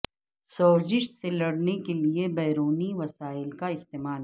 سوزش سے لڑنے کے لئے بیرونی وسائل کا استعمال